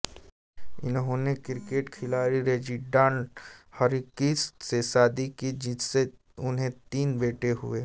इन्होंने क्रिकेट खिलाड़ी Reginald Hargreaves से शादी की जिनसे इन्हें तीन बेटे हुए